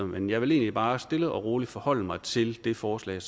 men jeg vil egentlig bare stille og roligt forholde mig til det forslag